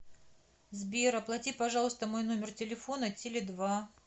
сбер оплати пожалуйста мой номер телефона теле два